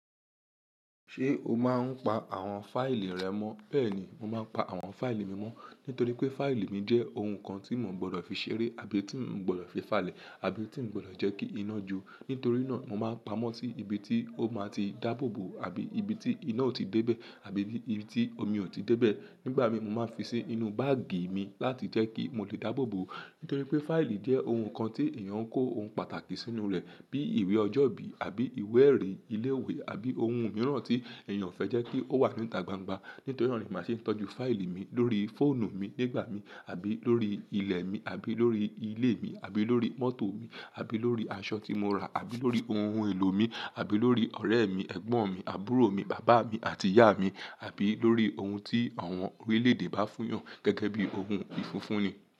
Ṣé o máa ń pa àwọn fáìlì rẹ mọ́? Bẹ́ẹ̀ ni, mo máa ń pa àwọn fáìlì mi mọ́. Nítorí pé fáìlì mi jẹ́ ohun kan tí mò ń gbọdọ̀ fi ṣeré àbí tí ń gbọdọ̀ fi fàlẹ̀ àbí tí ń gbọdọ̀ jẹ́ kí iná ju. Nítorí náà, mo máa ń pamọ́ sí ibi tí ó máa ti dáàbò bò àbí ibi tí iná ò tíì débẹ̀ àbí ní ibi tí omi ò tíì débẹ̀. Nígbà mí mo máa ń fi sí inú báàgì mi láti jẹ́ kí mo lè dáàbò bò. Nítorí pé fáìlì jẹ́ ohun kan tí èèyàn ń kó ohun pàtàkì sínú rẹ̀ bíi ìwé ọjọ́ ìbí àbí ìwé ẹ̀rí ilé ìwé àbí ohun mìíràn tí èèyàn fẹ́ jẹ́ kí ó wà níta gbangba. Nítorí náà ni màá ṣe ń tọ́jú fáìlì mi lórí fóònù mi nígbà mí àbí lórí ilẹ̀ mi àbí lórí ilé mi àbí lórí mọ́tò mi àbí lórí aṣọ tí mo ń rà àbí lórí ohun èlò mi àbí lórí ọ̀rẹ́ mi, ẹ̀gbọ́n mi, àbúrò mi, bàbá mi àti ìyá mi àbí lórí ohun tí àwọn orílẹ̀ èdè bá fún hàn gẹ́gẹ́ bí ohun ìfúnfún ni.